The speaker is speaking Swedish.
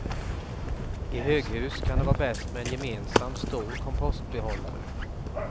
I höghus kan det vara bäst med en gemensam stor kompostbehållare.